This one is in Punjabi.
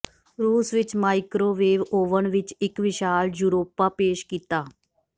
ਰੂਸ ਵਿਚ ਮਾਇਕ੍ਰੋਵੇਵ ਓਵਨ ਵਿੱਚ ਇੱਕ ਵਿਸ਼ਾਲ ਯੂਰੋਪਾ ਪੇਸ਼ ਕੀਤਾ